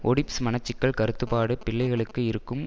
Oedipus மனச்சிக்கல் கருத்துப்பாடு பிள்ளைகளுக்கு இருக்கும்